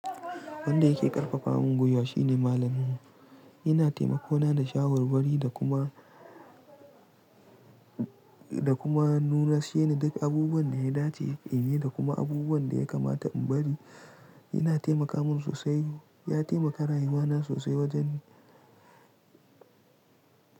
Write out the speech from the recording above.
Wanda yake ƙarfafa mun gwiwa shine malaminmu. Yana taimako na da shawarwari da kuma, da kuma nuna sheni duk abubuwan da ya dace in yi da kuma abubuwan da ya kamata in bari. Yana taimaka mun sosai. Ya taimaka rayuwa na sosai wajen.